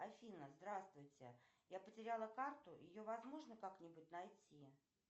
афина здравствуйте я потеряла карту ее возможно как нибудь найти